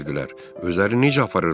Özlərini necə aparırdılar?